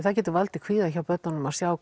það getur valdið kvíða hjá börnum að sjá